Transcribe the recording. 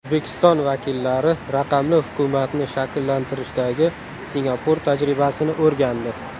O‘zbekiston vakillari raqamli hukumatni shakllantirishdagi Singapur tajribasini o‘rgandi.